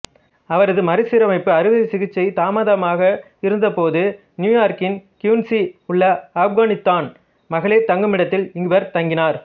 அவரது மறுசீரமைப்பு அறுவை சிகிச்சை தாமதமாக இருந்தபோது நியூயார்க்கின் குயின்சி உள்ள ஆப்கானித்தான் மகளிர் தங்குமிடத்தில் இவர் தங்கினார்